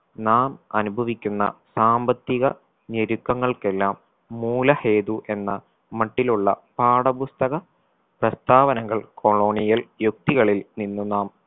നാം അനുഭവിക്കുന്ന സാമ്പത്തിക ഞെരുക്കങ്ങൾക്കെല്ലാം മൂലഹേതു എന്ന മട്ടിലുള്ള പാഠപുസ്തക പ്രസ്താവനകൾ colonial യുക്തികളിൽ നിന്ന് നാം